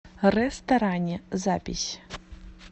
рэсторани запись